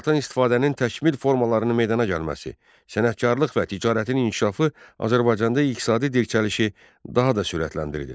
Torpaqdan istifadənin təkmil formalarının meydana gəlməsi, sənətkarlıq və ticarətin inkişafı Azərbaycanda iqtisadi dirçəlişi daha da sürətləndirdi.